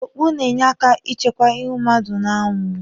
Okpu na-enye aka ichekwa ịhụ mmadụ n'anwụ.